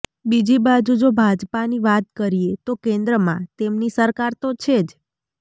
બીજી બાજુ જો ભાજપાની વાત કરીએ તો કેન્દ્રમાં તેમની સરકાર તો છે જ